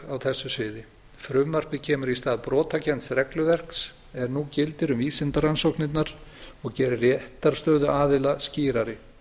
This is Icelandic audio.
á þessu sviði frumvarpið kemur í stað brotakennds regluverks er nú gildir um vísindarannsóknirnar og gerir réttarstöðu aðila skýrari